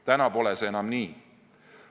Täna pole see enam nii.